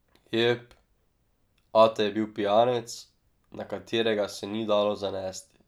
Jep, ata je bil pijanec, na katerega se ni dalo zanesti.